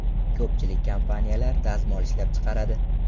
Ko‘pchilik kompaniyalar dazmol ishlab chiqaradi.